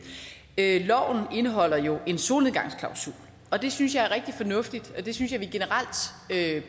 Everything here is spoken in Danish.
loven indeholder jo en solnedgangsklausul og det synes jeg er rigtig fornuftigt og det synes jeg generelt